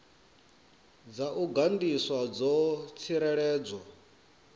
dza u gandiswa dzo tsireledzwa